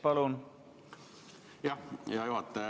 Hea juhataja!